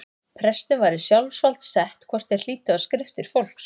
Prestum var í sjálfsvald sett hvort þeir hlýddu á skriftir fólks.